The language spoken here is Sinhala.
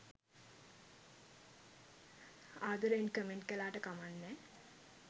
ආදරයෙන් කමෙන්ට් කලාට කමන් නෑ